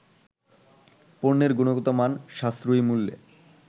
পণ্যের গুণগত মান, সাশ্রয়ী মূল্য